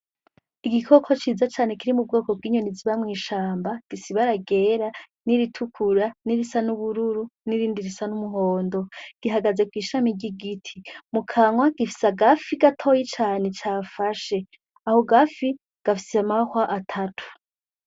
Igikoko ciza cane kiri m'Ubwoko bw'inyoni ziba mw'ishamba, gifise ibara ryera, n'iritukura nirisa n'ubururu n'irindi risa n'umuhondo gihagaze kw'ishami ry'igiti, mu kanwa ifise agafi gatoyi cafashe ako gafi gafise amahwa atatu.